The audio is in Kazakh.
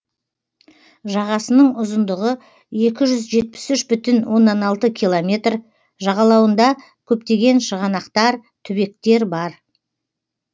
жағасының ұзындығы екі жүз жетпіс үш бүтін оннан алты километр жағалауында көптеген шығанақтар түбектер бар